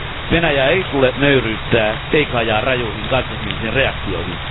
Venäjää ei tule nöyryyttää, eikä ajaa rajuihin kansallismielisiin reaktioihin.